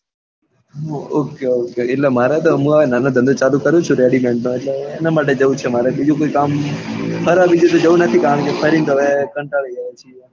okay એટલે મારે તો હું અહી નાનો ધંધો કરું છું. ready made નો એટલે જવું છે બાકી બીજું કોઈ કામ ફરવા તો જવું નથી કારણ કે ફરી ને તો હવે કંટાળ્યા.